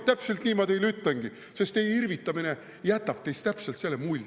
Täpselt nii ma teile ütlengi, sest teie irvitamine jätab teist täpselt selle mulje.